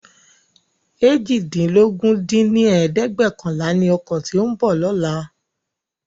eéjìdínlógún dín ní ẹ̀ẹ́dẹ́gbẹ́ọ̀kànlá ni ọkọ tí ó ń bọ̀ lóla